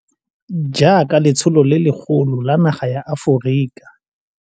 Jaaka letsholo le legolo la naga ya Aforika.